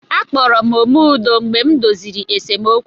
A kpọrọ m "Ome Udo" mgbe m doziri esemokwu.